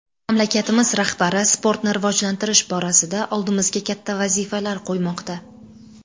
Mamlakatimiz rahbari sportni rivojlantirish borasida oldimizga katta vazifalar qo‘ymoqda.